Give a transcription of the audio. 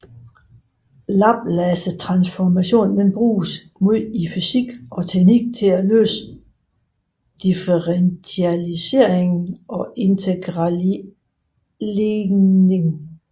Laplacetransformationer bruges meget i fysik og teknik til at løse differentialligninger og integralligninger